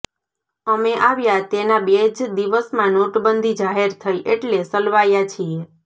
અમે આવ્યા તેના બે જ દિવસમાં નોટબંધી જાહેર થઇ એટલે સલવાયા છીએ